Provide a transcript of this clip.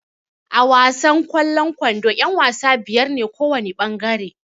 A wasan kwallon ƙwando yan-wasa biyar ne kowana ɓangare.